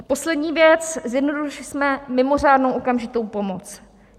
A poslední věc, zjednodušili jsme mimořádnou okamžitou pomoc.